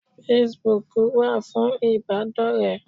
Facebook wà fún ìbádọ́rẹ̀ẹ́